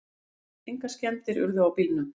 Engar skemmdir urðu á bílunum